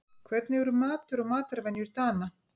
Hvernig eru matur og matarvenjur Dana?